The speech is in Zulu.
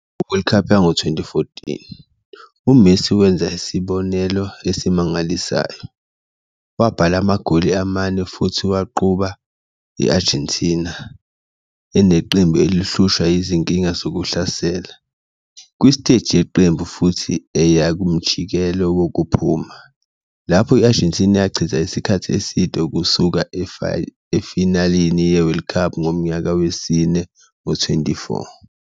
Ku-World Cup yango-2014, uMessi wenza isibonelo esimangalisayo, wabhala amagoli amane futhi waqhuba i-Argentina, eneqembu elihlushwa yizinkinga zokuhlasela, kwi-stage yeqembu futhi eya kumjikelo wokuphuma, lapho i-Argentina yachitha isikhathi eside ukusuka efinalini ye-World Cup ngomnyaka wesine ngo-24.